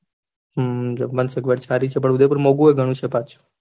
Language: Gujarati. હમ જમવાની સગવડ સારી છે પણ ઉદયપુર માં મોઘુય ઘણું છ પાછું